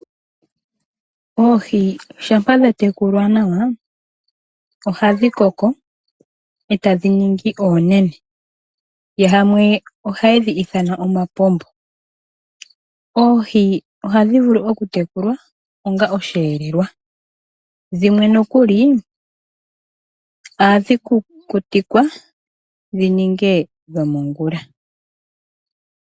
Oohi shampa dha tekulwa nawa ohadhi koko etadhi ningi oonene, yamwe ohaye dhi ithana omapombo. Oohi ohadhi vulu okutekulwa onga osheelelwa dhimwe nokuli ohadhi kukutikwa dhi ninge dhomongula.